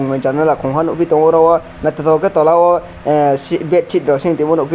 janala kongha nogoi tango aro naitotok ke tola o ahh si bedsi ro se tongma nogpe.